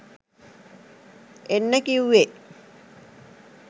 එන්න කිව්වේ.